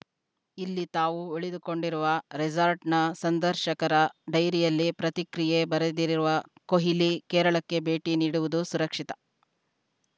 ಇಲ್ಲಿ ತಾವು ಉಳಿದುಕೊಂಡಿರುವ ರೆಸಾರ್ಟ್‌ನ ಸಂದರ್ಶಕರ ಡೈರಿಯಲ್ಲಿ ಪ್ರತಿಕ್ರಿಯೆ ಬರೆದಿರುವ ಕೊಹ್ಲಿ ಕೇರಳಕ್ಕೆ ಭೇಟಿ ನೀಡುವುದು ಸುರಕ್ಷಿತ